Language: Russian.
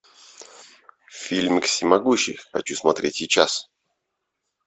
фильмик всемогущий хочу смотреть сейчас